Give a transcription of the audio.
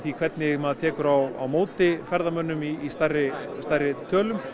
hvernig maður tekur á móti ferðamönnum í stærri stærri tölum